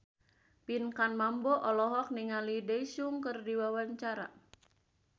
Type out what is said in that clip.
Pinkan Mambo olohok ningali Daesung keur diwawancara